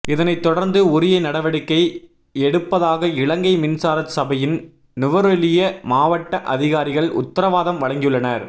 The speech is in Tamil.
இதனைத் தொடர்ந்து உரிய நடவடிக்கை எடுப்பதாக இலங்கை மின்சார சபையின் நுவரெலியா மாவட்ட அதிகாரிகள் உத்தரவாதம் வழங்கியுள்ளனர்